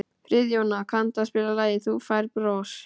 Friðjóna, kanntu að spila lagið „Þú Færð Bros“?